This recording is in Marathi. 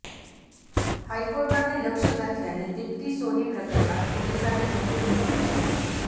हायकोर्टाने लक्ष घातल्याने दिप्ती सोनी प्रकरणात पोलिसांनी जंगजंग पछाडलं